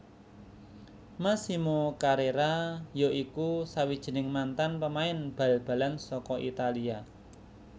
Massimo Carrera ya iku sawijining mantan pemain bal balan saka Italia